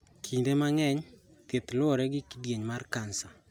Kinde mang�eny, thieth luwore gi kindieny mar kansa.